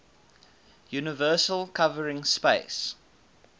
universal covering space